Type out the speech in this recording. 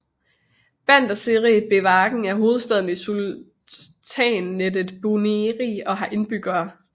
Bandar Seri Begawan er hovedstaden i sultanatet Brunei og har indbyggere